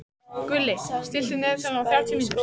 Gulli, stilltu niðurteljara á þrjátíu mínútur.